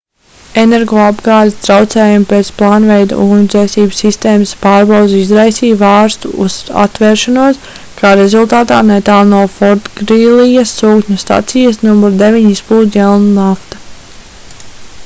energoapgādes traucējumi pēc plānveida ugunsdzēsības sistēmas pārbaudes izraisīja vārstu atvēršanos kā rezultātā netālu no fortgrīlijas sūkņu stacijas nr 9 izplūda jēlnafta